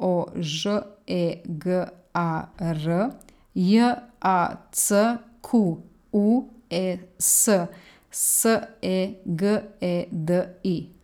O Ž E G A R; J A C Q U E S, S E G E D I.